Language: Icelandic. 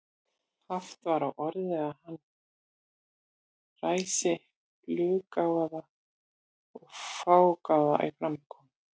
Haft var á orði að hann væri fluggáfaður og fágaður í framkomu.